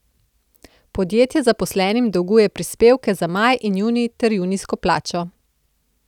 Podjetje zaposlenim dolguje prispevke za maj in junij ter junijsko plačo.